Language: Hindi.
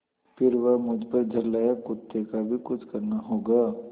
फिर वह मुझ पर झल्लाया कुत्ते का भी कुछ करना होगा